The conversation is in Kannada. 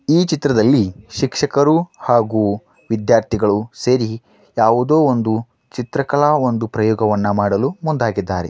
ಈ ಚಿತ್ರದಲ್ಲಿ ಶಿಕ್ಷಕರು ಹಾಗು ವಿದ್ಯಾರ್ಥಿಗಳು ಸೇರಿ ಯಾವುದೊ ಒಂದು ಚಿತ್ರಕಲಾ ಒಂದು ಪ್ರಯೋಗವನ್ನು ಮಾಡಲು ಮುಂದಾಗಿದ್ದಾರೆ.